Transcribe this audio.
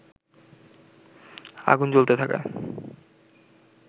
আগুন জ্বলতে থাকায়